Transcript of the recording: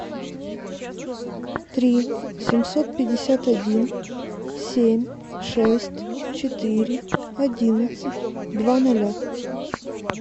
три семьсот пятьдесят один семь шесть четыре одиннадцать два ноля